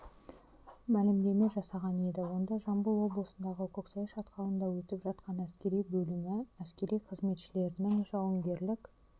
мәлімдеме жасаған еді онда жамбыл облысындағы көксай шатқалында өтіп жатқан әскери бөлімі әскери қызметшілерінің жауынгерлік